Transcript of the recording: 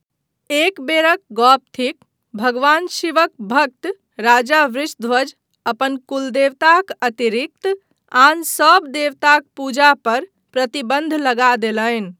एक बेरक गप थिक भगवान शिवक भक्त राजा वृषध्वज अपन कुलदेवताक अतिरिक्त आन सभ देवताक पूजा पर प्रतिबन्ध लगा देलनि।